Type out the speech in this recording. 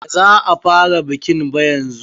Baza a fara bikin ba yanzu.